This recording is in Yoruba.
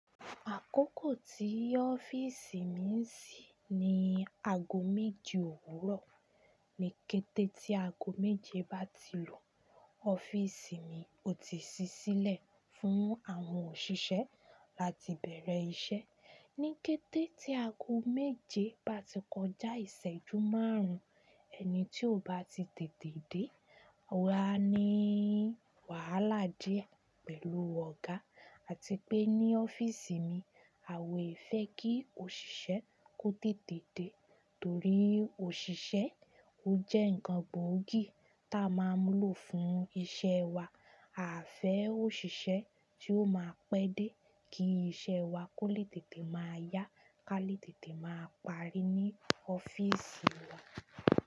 Àkókò tí ọ́fíìsì mi ń ṣí ni aago méje òwúrọ̀. Ni kété tí aago méje bá ti lú, ọ́fíìsì mi ò tíì ṣí sílẹ̀ fún àwọn òṣìṣẹ́ láti bẹ̀rẹ̀ iṣẹ́. Ni kété tí aago méje bá ti kọjá ìṣẹ́jú márùn-ún, ẹni tí ò bá ti tètè dé, ó máa ní wàhálà díẹ̀ pẹ̀lú ọ̀gá. A ti pé ní ọ́fíìsì mi, à wé fẹ́ kí òṣìṣẹ́ kó tètè dé, torí òṣìṣẹ́ ó jẹ́ nǹkan gbòógì tí a máa ń lò fún iṣẹ́ wa. A fẹ́ òṣìṣẹ́ tí ó máa pẹ́ dé kí iṣẹ́ wa kó lè tètè máa yá, ká lè tètè máa parí ní ọ́fíìsì wa.